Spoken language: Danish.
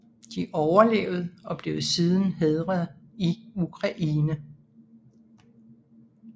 De overlevede og blev siden hædret i Ukraine